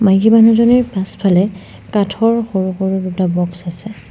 মাইকী মানুহজনিৰ পাছফালে কাঠৰ সৰু সৰু দুটা বক্স আছে।